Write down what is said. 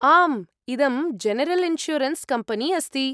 आम्, इदं general insurance company अस्ति।